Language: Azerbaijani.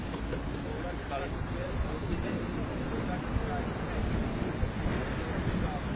Sən nə tərəfə gedirsənsə o tərəfə də yəni sahibkar üçün də yaxşıdır, sən də gedirsən işdə.